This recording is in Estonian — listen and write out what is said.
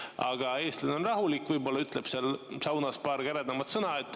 Aga eestlane on rahulik, võib-olla ütleb saunas paar käredamat sõna.